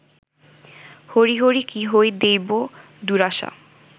হরি হরি কি ইহ দৈব দুরাশা